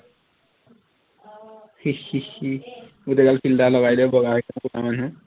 গোটেই গাল filter লগাই দে বগা হৈ যাব কলা মানুহ